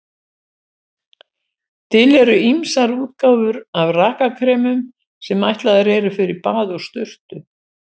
Til eru ýmsar útgáfur af rakakremum sem ætlaðar eru fyrir bað og sturtu.